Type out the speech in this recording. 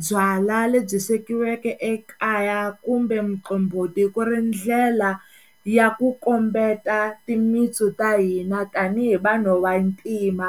byala lebyi swekiweke ekaya kumbe muqombhoti ku ri ndlela ya ku kombeta timitsu ta hina tanihi vanhu vantima.